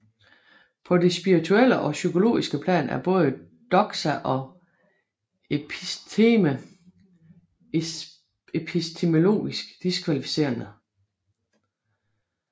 På det spirituelle og psykologiske plan er både doxa og episteme epistemologisk diskvalificerende